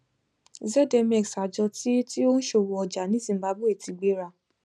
zmx àjọ tí tí ó ń ṣòwò ọjà ní zimbabwe ti gbéra